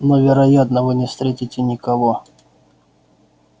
но вероятно вы не встретите никого